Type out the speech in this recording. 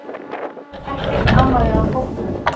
Ekkert amaði að hópnum